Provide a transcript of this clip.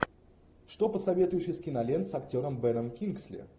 что посоветуешь из кинолент с актером беном кингсли